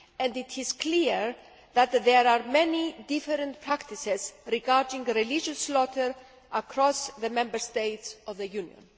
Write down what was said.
It is clear that there are many different practices regarding religious slaughter across the Member States of the Union.